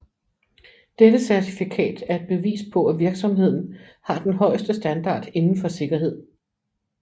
Dette certifikat er et bevis på at virksomheden har den højeste standard inden for sikkerhed